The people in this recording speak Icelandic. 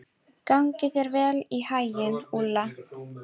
Gangi þér allt í haginn, Úlla.